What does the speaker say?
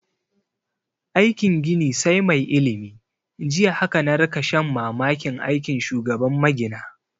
Aikin gini sai mai ilimi, jiya haka na rika shan mamakin aikin shugaban magina